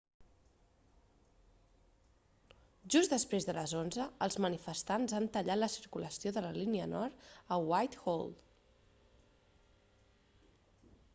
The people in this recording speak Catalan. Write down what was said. just després de les 11:00 els manifestants han tallat la circulació de la línia nord a whitehall